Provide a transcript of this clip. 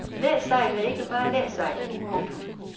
Læsejl er ikke bare læsejl. punktum